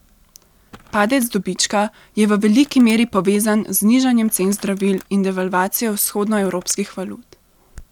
Padec dobička je v veliki meri povezan z znižanjem cen zdravil in devalvacijo vzhodnoevropskih valut.